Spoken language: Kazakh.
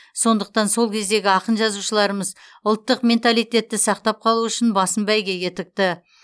сондықтан сол кездегі ақын жазушыларымыз ұлттық менталитетті сақтап қалу үшін басын бәйгеге тікті